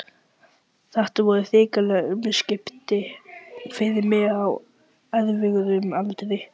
Þetta voru hrikaleg umskipti fyrir mig á erfiðum aldri.